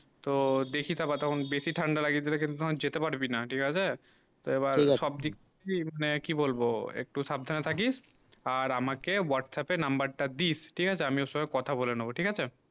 তো দেখি তা বাতাবন বেশি ঠান্ডা লাগে গেলে কিন্তু যেতে পারবি না ঠিক আছে তো এইবার সব দিক দিয়ে মানে কি বলবো একটু সাবধানে থাকিস আর আমাকে whatsapp এর number তা দিস ঠিক আছে আমি ওর সঙ্গে কথা বলা নিবো ঠিক আছে